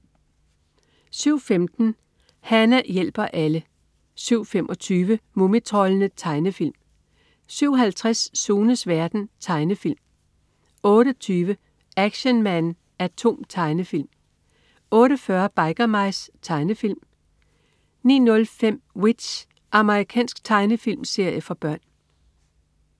07.15 Hana hjælper alle 07.25 Mumitroldene. Tegnefilm 07.50 Sunes verden. Tegnefilm 08.20 Action Man A.T.O.M. Tegnefilm 08.40 Biker Mice. Tegnefilm 09.05 W.i.t.c.h. Amerikansk tegnefilmserie for børn